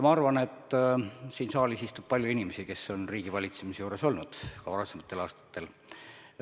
Ma arvan, et siin saalis istub palju inimesi, kes on riigivalitsemise juures olnud, ka varasematel aastatel.